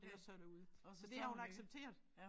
Ellers så det ud så det har hun accepteret